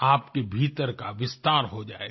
आपके भीतर का विस्तार हो जाएगा